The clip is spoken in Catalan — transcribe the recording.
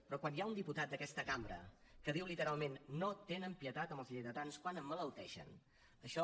però quan hi ha un diputat d’aquesta cambra que diu literalment no tenen pietat amb els lleidatans quan emmalalteixen això